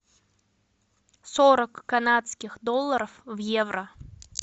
сорок канадских долларов в евро